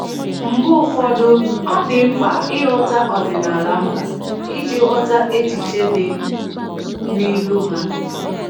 Mgbe ụfọdụ, ọ dị mkpa ịghọta ọdịnaala mba iji ghọta echiche dị n’ilu ha.